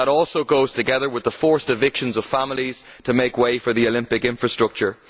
It also goes together with the forced evictions of families to make way for the Olympic infrastructure.